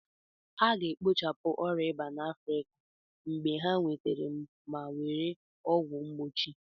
A ga-ekpochapụ ịba na Afrika mgbe ha nwetara ma were ọgwụ mgbochi